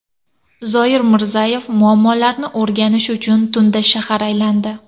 Zoir Mirzayev muammolarni o‘rganish uchun tunda shahar aylandi .